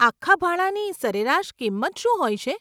આખા ભાણાની સરેરાશ કિંમત શું હોય છે?